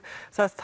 það